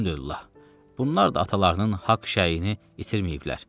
Bunlar da atalarının haqq şəyini itirməyiblər.